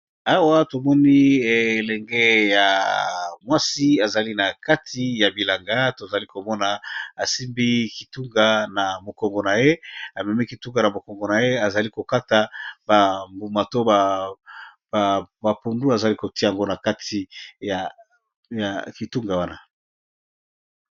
awa tomoni elenge ya mwasi ezali na kati ya bilanga tozali komona asimbi kitunga na mokongo na ye amemi kitunga na mokongo na ye azali kokata ambuma to bapundu azali kotia yango na kati ya kitunga wana